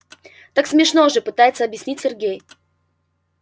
так смешно же пытается объяснить сергей